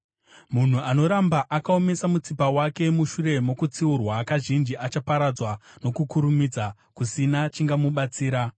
Munhu anoramba akaomesa mutsipa wake mushure mokutsiurwa kazhinji achaparadzwa nokukurumidza, kusina chingamubatsira.